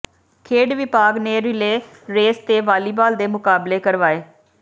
ਖੇਡ ਵਿਭਾਗ ਨੇ ਰਿਲੇਅ ਰੇਸ ਤੇ ਵਾਲੀਬਾਲ ਦੇ ਮੁਕਾਬਲੇ ਕਰਵਾਏ